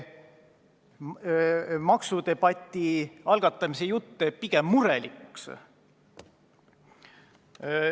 Maksudebati algatamise jutt teeb pigem murelikuks.